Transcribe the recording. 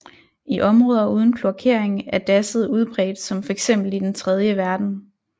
I områder uden kloakering er dasset udbredt som fx i den tredje verden